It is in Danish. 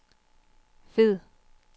fed